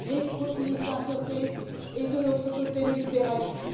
les populistes d'un côté et de l'autre côté le libéralisme.